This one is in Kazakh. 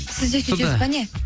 сіз де сөйтесіз бе не